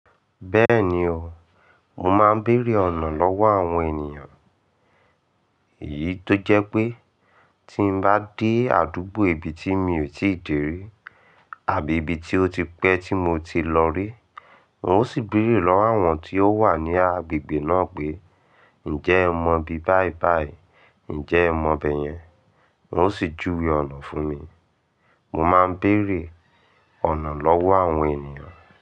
Bẹ́ẹ̀ni o, mo máa ń bèrè ọ̀nà lọ́wọ́ àwọn ènìyàn. Èyí tó jẹ́ pé tí mo bá dé àdúgbò ibi tí mi ò tíì dé rí àbí ibi tí ó ti pẹ́ tí mo ti lọ rí, n ó sì bèrè lọ́wọ́ àwọn tí ó wà ní agbègbè náà pé, "Ǹjẹ́ ẹ mọ ibi báìbàì? Ǹjẹ́ ẹ mọ bẹ́yẹn?" Wọ́n ó sì júwe ọ̀nà fún mi. Mo máa ń bèrè ọ̀nà lọ́wọ́ àwọn ènìyàn.